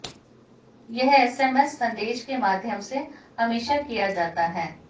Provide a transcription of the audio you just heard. यह एसएमएस संदेश के माध्यम से हमेशा किया जाता है